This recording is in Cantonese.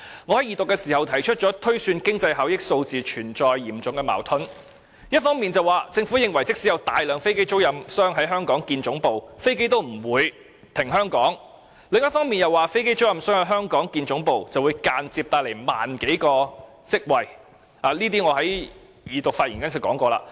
我在二讀時指出，有關經濟效益的推算存在嚴重矛盾，政府一方面表示即使有大量飛機租賃商在香港設立總部，飛機也不會停放香港，但另一方面又指飛機租賃商在香港設立總部，會間接製造1萬多個職位，而這些都是我在二讀發言時說過的。